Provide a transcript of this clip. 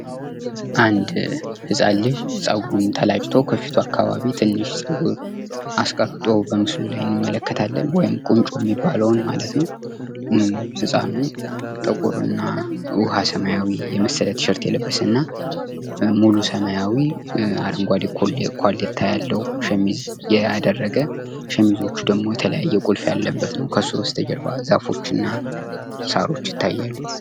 አንድ ህፃን ልጅ ጸጉርን ተላጭቶ ከፊቱ አካባቢ ትንሽ ፀጉር አስቀርቶ በምስሉ ላይ እንመለከታለን ፤ ወይም ቁንጮ የምንለውን ማለት ነው። ህፃኑ ውሃ ሰማያዊና ጥቁር ቲሸርት የለበሰ እና ሙሉ ሰማያዊ አረንጓዴ ኮሌታ ያለው ሸሚዝ ያደረገ ፥ ሸሚዙ ደግሞ የተለያየ ቁልፍ ያለበት ነው ከሱ ጀርባ ዛፎች እና ሳሮች ይታያሉ።